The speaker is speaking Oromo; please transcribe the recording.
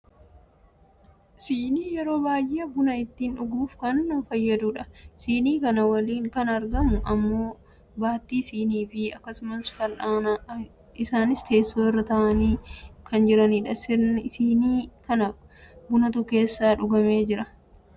Sinii yeroo baayyee buna ittiin dhuguuf kan nu fayyadudha. Sinii kana waliin kan argamu ammoo baattii sinii fi akkasumas fal'aanadha. Isaanis teessoo irra taa'anii kan jiranidha. Sinii kana bunatu keessaa dhugamee jira.